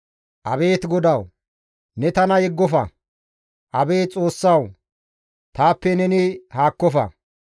Abeet GODAWU! Ne tana yeggofa; Abeet Xoossawu taappe neni haakkofa.